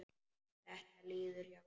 Þetta líður hjá.